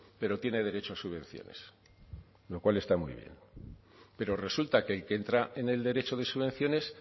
pero tiene derecho a subvenciones lo cual está muy bien pero resulta que el que entra en el derecho de subvenciones